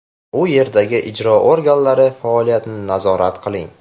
U yerdagi ijro organlari faoliyatini nazorat qiling.